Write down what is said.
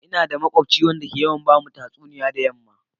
Ina da makubci wanda ke yawan ba mu tatsuniya da yamma.